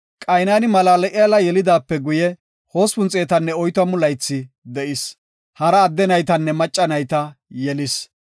Qaynani Malal7eela yelidaape guye, 840 laythi de7is. Hara adde naytanne macca nayta yelis.